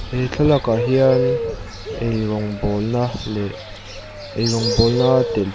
he thlalakah hian ei rawngbawlna leh ei rawngbawl a a telh--